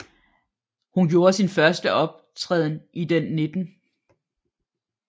Hun gjorde sin første optræden i den 19